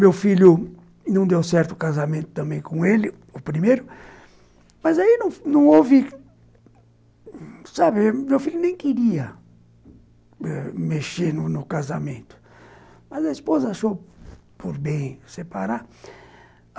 Meu filho não deu certo o casamento também com ele, o primeiro, mas aí não houve... Sabe, meu filho nem eh queria mexer no casamento, mas a esposa achou por bem separar.